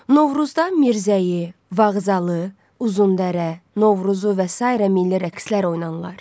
Novruzda Mirzəyi, Vağzalı, Uzundərə, Novruzu və sairə milli rəqslər oynanılır.